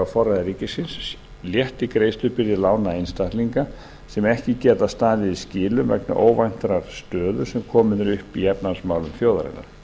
forræði ríkisins létti greiðslubyrði lána einstaklinga sem ekki geta staðið í skilum vegna óvæntrar stöðu sem komin er upp í efnahagsmálum þjóðarinnar